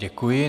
Děkuji.